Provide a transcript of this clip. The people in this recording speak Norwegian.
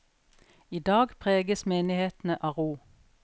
I dag preges menighetene av ro.